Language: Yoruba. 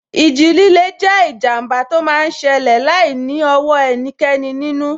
Ìjì líle jẹ́ ìjàmbá tó máa n ṣẹlẹ̀ láìní ọwọ́ ẹnikẹ́ni nínú